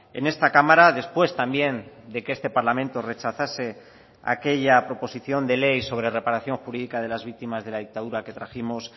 en esta cámara después también de que este parlamento rechazase aquella proposición de ley sobre reparación jurídica de las víctimas de la dictadura que trajimos